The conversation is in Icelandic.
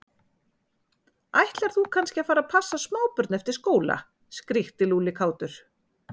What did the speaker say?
Ætlar þú kannski að fara að passa smábörn eftir skóla? skríkti Lúlli kátur.